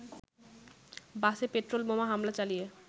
“বাসে পেট্রোল বোমা হামলা চালিয়ে